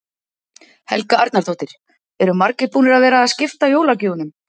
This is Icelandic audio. Helga Arnardóttir: Eru margir búnir að vera að skipta jólagjöfunum?